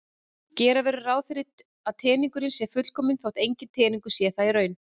Gera verður ráð fyrir að teningurinn sé fullkominn þótt enginn teningur sé það í raun.